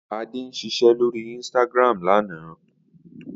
Ade ń ṣiṣẹ́ lórí Instagram lánàá